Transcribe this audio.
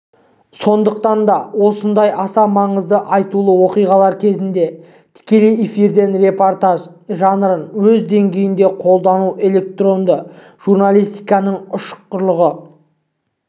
сондықтан да осындай аса маңызды айтулы оқиғалар кезінде тікелей эфирден репортаж жанрын өз деңгейінде қолдану электронды журналистиканың ұшқырлығын